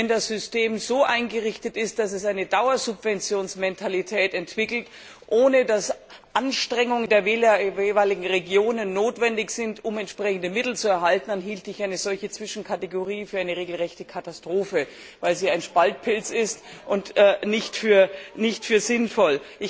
Wenn das System so eingerichtet ist, dass sich eine Dauersubventionsmentalität entwickelt, ohne dass Anstrengungen der jeweiligen Regionen notwendig sind, um entsprechende Mittel zu erhalten, dann hielte ich eine solche Zwischenkategorie für eine regelrechte Katastrophe, weil sie ein Spaltpilz ist, und nicht für sinnvoll.